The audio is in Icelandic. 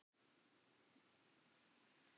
En pabba hennar hlýtur að vera sama.